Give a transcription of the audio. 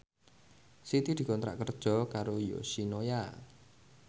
Siti dikontrak kerja karo Yoshinoya